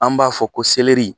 An b'a fɔ ko